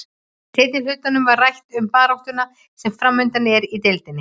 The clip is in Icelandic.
Í seinni hlutanum var rætt um baráttuna sem framundan er í deildinni.